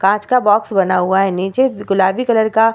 कांच का बॉक्स बना हुआ है नीचे गुलाबी कलर का --